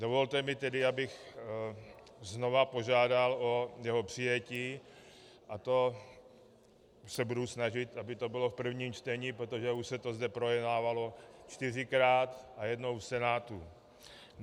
Dovolte mi tedy, abych znovu požádal o jeho přijetí, a to se budu snažit, aby to bylo v prvním čtení, protože už se to zde projednávalo čtyřikrát a jednou v Senátu.